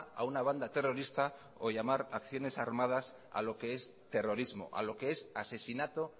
a una banda terrorista o llamar acciones armadas a lo que es terrorismo a lo que es asesinato